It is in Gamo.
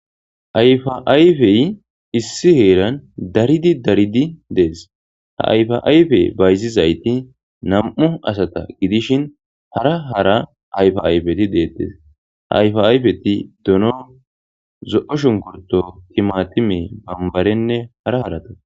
Hayfaayfey issi heeran daridi daridi dees ha ayfaayfe bayzizayti nam'u asata gidishin hara hara ayfayfeti deettes ha ayfa'ayfeti dono zo'o shungurto timatime bambarenne hara harata